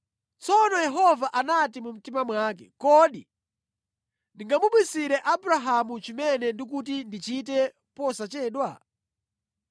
Tsono Yehova anati mu mtima mwake, “Kodi ndingamubisire Abrahamu chimene ndikuti ndichite posachedwa?